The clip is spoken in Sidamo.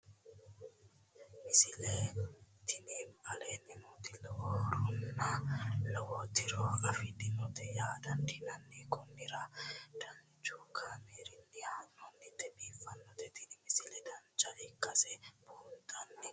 misile tini aleenni nooti lowo horonna lowo tiro afidhinote yaa dandiinanni konnira danchu kaameerinni haa'noonnite biiffannote tini misile dancha ikkase buunxanni